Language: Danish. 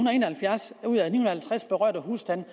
og en og halvfjerds ud af de ni og halvtreds berørte husstande